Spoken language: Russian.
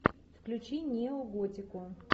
включи неоготику